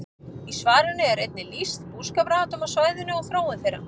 Í svarinu er einnig lýst búskaparháttum á svæðinu og þróun þeirra.